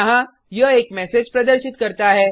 यहाँ यह एक मैसेज प्रदर्शित करता है